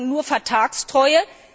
Wir verlangen nur Vertragstreue.